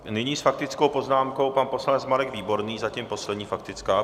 Nyní s faktickou poznámkou pan poslanec Marek Výborný, zatím poslední faktická.